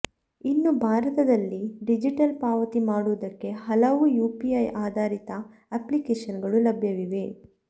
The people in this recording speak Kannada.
ಇನ್ನು ಭಾರತದಲ್ಲಿ ಡಿಜಿಟಲ್ ಪಾವತಿ ಮಾಡುವುದಕ್ಕೆ ಹಲವು ಯುಪಿಐ ಆಧಾರಿತ ಅಪ್ಲಿಕೇಶನ್ಗಳು ಲಭ್ಯವಿವೆ